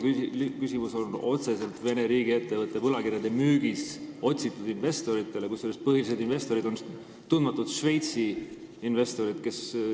Küsimus on otseselt Vene riigiettevõtte võlakirjade müügis otsitud investoritele, kusjuures põhilised investorid on tundmatud Šveitsi investorid.